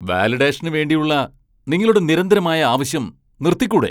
വാലിഡേഷന് വേണ്ടിയുള്ള നിങ്ങളുടെ നിരന്തരമായ ആവശ്യം നിർത്തിക്കൂടെ?